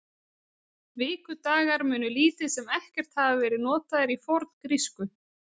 Vikudagar munu lítið sem ekkert hafa verið notaðir í forngrísku.